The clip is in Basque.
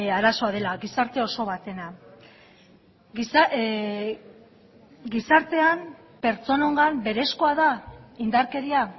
arazoa dela gizarte oso batena gizartean pertsonengan berezkoa da indarkeria